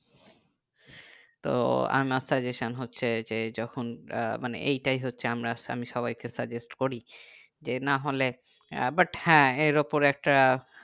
তো amortization হচ্ছে যে যখন আহ মানে এই তাই হচ্ছে আমরা আমি সবাই কে suggest করি যে না হলে ব আহ but হ্যাঁ এর ওপরে একটা